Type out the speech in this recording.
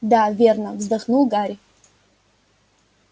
да верно вздохнул гарри